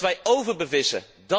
Omdat wij overbevissen!